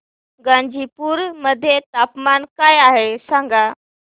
गाझीपुर मध्ये तापमान काय आहे सांगा